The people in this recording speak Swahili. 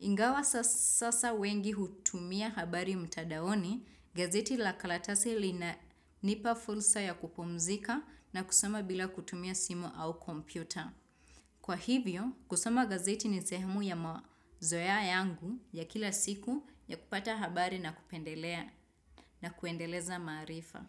Ingawa sasa wengi hutumia habari mtandaoni gazeti la karatasi linanipa fursa ya kupumzika na kusoma bila kutumia simu au kompyuta. Kwa hivyo, kusoma gazeti ni zehemu ya mazoea yangu ya kila siku ya kupata habari na kupendelea na kuendeleza maarifa.